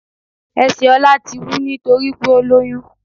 Esè Ọlá ti wú nítorípé ó ti lóyún